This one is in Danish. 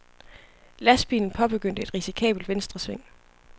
Lastbilen påbegyndte et risikabelt venstresving.